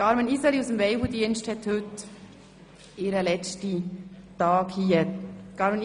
Carmen Iseli vom Weibeldienst hat heute ihren letzten Arbeitstag.